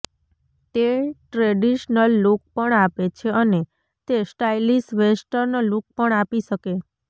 તે traditional look પણ આપે છે અને તે સ્ટાઈલિશ વેસ્ટર્ન લૂક પણ આપી શકે